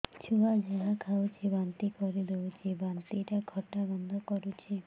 ଛୁଆ ଯାହା ଖାଉଛି ବାନ୍ତି କରିଦଉଛି ବାନ୍ତି ଟା ଖଟା ଗନ୍ଧ କରୁଛି